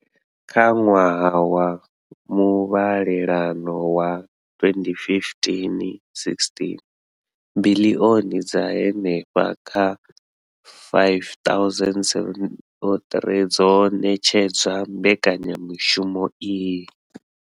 Kha ṅwaha wa muvhalelano wa 2015,16, biḽioni dza henefha kha R5 703 dzo ṋetshedzwa mbekanya mushumo iyi.